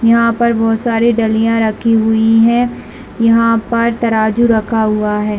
यहाँ पर बहुत सारे डलिया रखी हुई है यहाँ पर तराजू रखा हुआ है।